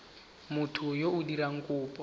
motho yo o dirang kopo